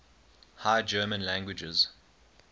high german languages